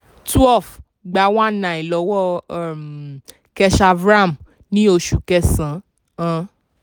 twelve gba nineteen hundred lọ́wọ́ um keshav ram ní oṣù kẹsàn-án.